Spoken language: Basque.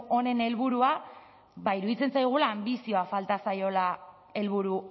honen helburua ba iruditzen zaigula anbizioa falta zaiola helburu